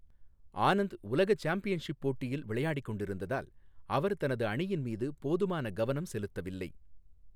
ஆனந்த் உலக சாம்பியன்ஷிப் போட்டியில் விளையாடிக் கொண்டிருந்ததால் அவர் தனது அணியின் மீது போதுமான கவனம் செலுத்தவில்லை.